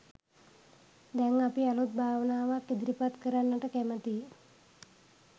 දැන් අපි අලුත් භාවනාවක් ඉදිරිපත් කරන්නට කැමතියි